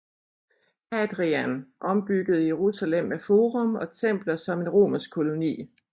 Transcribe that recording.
Hadrian ombyggede Jerusalem med forum og templer som en romersk koloni